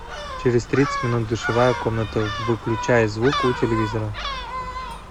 через тридцать минут душевая комната выключай звук у телевизора